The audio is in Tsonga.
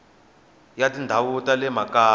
ya tindhawu ta le makaya